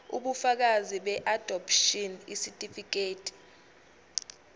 ubufakazi beadopshini isitifikedi